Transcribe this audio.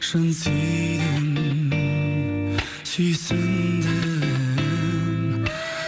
шын сүйдім сүйсіндім